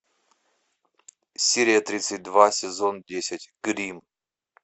серия тридцать два сезон десять гримм